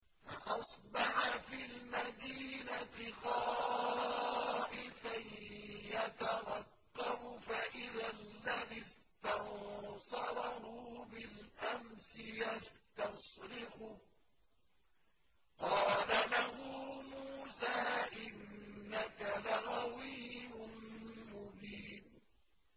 فَأَصْبَحَ فِي الْمَدِينَةِ خَائِفًا يَتَرَقَّبُ فَإِذَا الَّذِي اسْتَنصَرَهُ بِالْأَمْسِ يَسْتَصْرِخُهُ ۚ قَالَ لَهُ مُوسَىٰ إِنَّكَ لَغَوِيٌّ مُّبِينٌ